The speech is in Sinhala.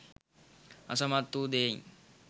අසමත් වූ දෙයින්